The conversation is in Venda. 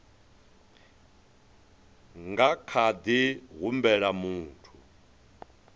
nga kha ḓi humbela muthu